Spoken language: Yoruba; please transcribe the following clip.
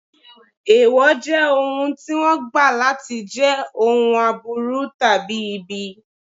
Èèwọ̀ jẹ́ ohun tí wọ́n gbà láti jẹ́ ohun aburú tàbí ibi.